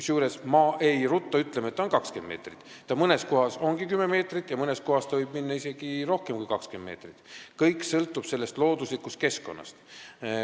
Kusjuures ma ei rutta ütlema, et ta on 20 meetrit lai, sest mõnes kohas ta ongi 10 meetrit ja mõnes kohas võib ta olla isegi rohkem kui 20 meetrit lai, kõik sõltub looduslikust keskkonnast.